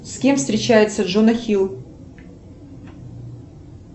с кем встречается джона хилл